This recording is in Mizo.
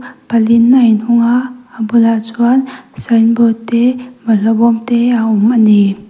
pal in a in hung a a bulah chuan sign board te bawlh hlawh bawm te a awm ani.